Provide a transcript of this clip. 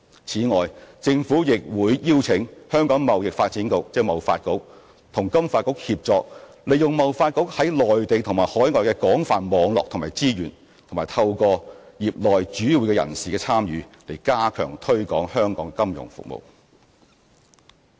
此外，政府亦會邀請香港貿易發展局和金發局協作，利用貿發局在內地和海外的廣泛網絡和資源，以及透過業內主要人士的參與，加強推廣香港的金融服務業。